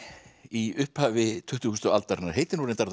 í upphafi tuttugustu aldarinnar heitir reyndar